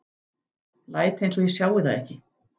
Læt einsog ég sjái það ekki.